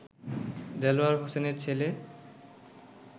দেলোয়ার হোসেনের ছেলে